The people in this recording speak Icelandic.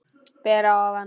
Ber að ofan.